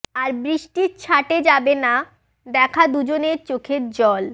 আর বৃষ্টির ছাঁটে যাবে না দেখা দুজনের চোখের জল